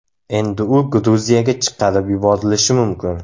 Endi u Gruziyaga chiqarib yuborilishi mumkin.